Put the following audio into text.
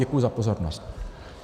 Děkuji za pozornost.